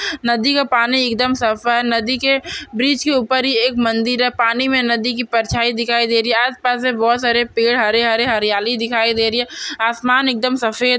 नदी का पानी एकदम साफ है। नदी के ब्रिज के ऊपर ही एक मंदिर है। पानी मे नदी की परछाई दिखाई दे रही है। आसपास से बहुत सारे पेड हरे-हरे हरियाली दिखाई दे रही है। आसमान एकदम सफेद--